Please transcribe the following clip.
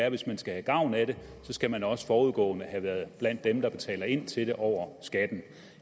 at hvis man skal have gavn af det skal man også forudgående have været blandt dem der betaler ind til det over skatten